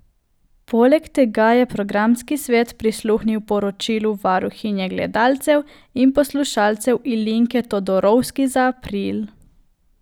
Poleg tega je programski svet prisluhnil poročilu varuhinje gledalcev in poslušalcev Ilinke Todorovski za april.